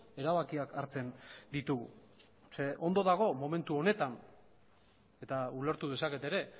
erabakiak hartzen ditugu ze ondo dago momentu honetan eta ulertu dezaket ere